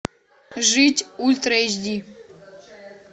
жить ультра эйч ди